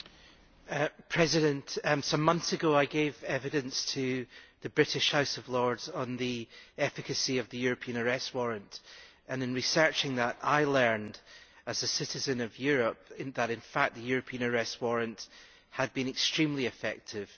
Madam President, some months ago I gave evidence to the British House of Lords on the efficacy of the European Arrest Warrant and in researching that I learned, as a citizen of Europe, that in fact the European Arrest Warrant had been extremely effective.